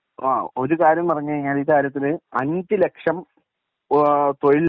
ആഹ് ഒരു കാര്യം പറഞ്ഞു കഴിഞ്ഞു കഴിഞ്ഞാൽ ഈ കാര്യത്തിൽ അഞ്ച് ലക്ഷം ഓഹ് തൊഴിൽ